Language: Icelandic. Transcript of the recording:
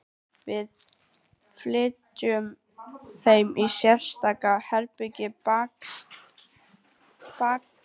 Við fylgjum þeim í sérstakt herbergi bakatil sem kallað er